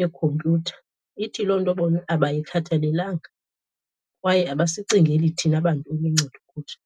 yekhompyutha. Ithi loo nto bona abayikhathalelanga kwaye abasicingeli thina bantu iluncedo kuthi.